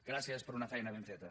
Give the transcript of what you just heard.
gràcies per una feina ben feta